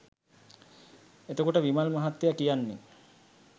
එත කොට විමල් මහත්තය කියන්නේ